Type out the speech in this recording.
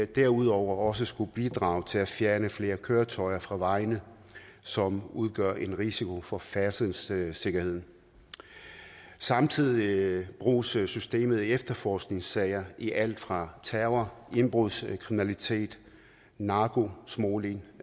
derudover også skulle bidrage til at fjerne flere køretøjer fra vejene som udgør en risiko for færdselssikkerheden samtidig bruges systemet i efterforskningssager i alt fra terror indbrudskriminalitet narkosmugling